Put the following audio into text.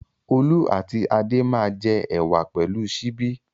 Olú àti Adé máa jẹ ẹ̀wà pẹ̀lú ṣíbí.